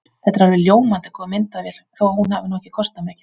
Þetta er alveg ljómandi góð myndavél þó að hún hafi nú ekki kostað mikið.